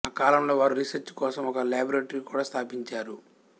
ఆ కాలంలో వారు రీసెర్చ్ కోసం ఒక లాబొరేటరీ కూడా స్థాపించారు